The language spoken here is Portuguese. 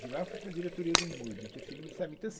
De lá fui para a diretoria do Imurb, interferindo, sabe então assim